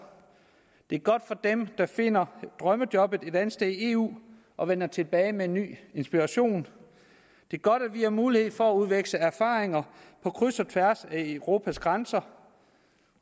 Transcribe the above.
det er godt for dem der finder drømmejobbet et andet sted i eu og vender tilbage med en ny inspiration det er godt at vi har mulighed for at udveksle erfaringer på kryds og tværs af europas grænser